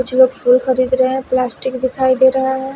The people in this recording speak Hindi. कुछ लोग फूल खरीद रहे हैं प्लास्टिक दिखाई दे रहा है।